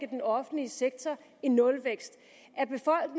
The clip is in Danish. den offentlige sektor en nulvækst